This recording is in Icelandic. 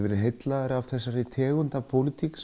verið heillaður af þessari tegund af pólitík